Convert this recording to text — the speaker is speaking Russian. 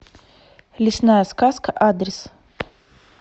лесная сказка адрес